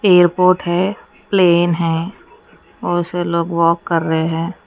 पेड़ पौधे हैं प्लेन है बहोत से लोग वॉक कर रहे हैं।